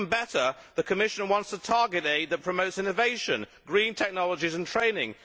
But better still, the Commission wants to target aid that promotes innovation, green technologies and training.